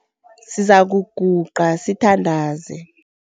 Sizakuguqa sithandaze.